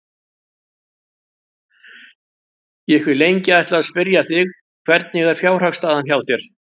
Ég hef lengi ætlað að spyrja þig. hvernig er fjárhagsstaðan hjá þér?